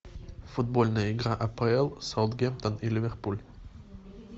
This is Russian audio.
футбольная игра апл саутгемптон и ливерпуль